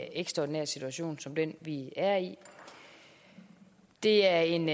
ekstraordinær situation som den vi er i det er en